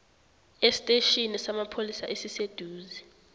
esitetjhini samapholisa esiseduze